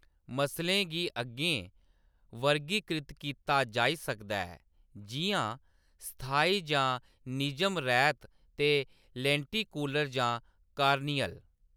मसलें गी अग्गें वर्गीकृत कीता जाई सकदा ऐ, जिʼयां स्थायी जां निजम रैह्‌‌‌त ते लेंटिकुलर जां कार्नियल।